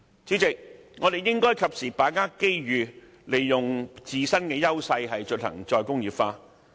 主席，我們應該把握機遇，利用自身的優勢進行"再工業化"。